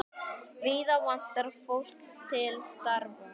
Víða vantar fólk til starfa.